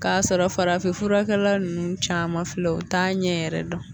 K'a sɔrɔ farafin furakɛla ninnu caman filɛ u t'a ɲɛ yɛrɛ dɔn